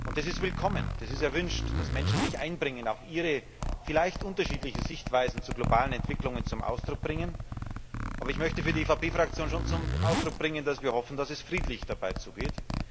Und das ist willkommen, es ist erwünscht, dass Menschen sich einbringen, auch ihre vielleicht unterschiedlichen Sichtweisen zu globalen Entwicklungen zum Ausdruck bringen. Aber ich möchte für die EVP Fraktion schon zum Ausdruck bringen, dass wir hoffen, dass es friedlich dabei zugeht.